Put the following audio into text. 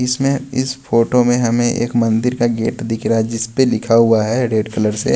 इसमें इस फोटो में हमें एक मंदिर का गेट दिख रहा है जिस पे लिखा हुआ है रेड कलर से--